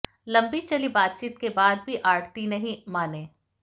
लंबी चली बातचीत के बाद भी आढ़ती नहीं माने